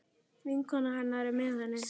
Vinkona hennar er með henni.